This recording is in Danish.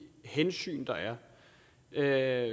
hensyn der er